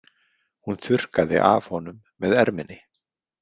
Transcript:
Hún þurrkaði af honum með erminni.